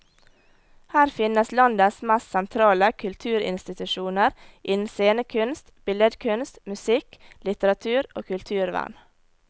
Her finnes landets mest sentrale kulturinstitusjoner innen scenekunst, billedkunst, musikk, litteratur og kulturvern.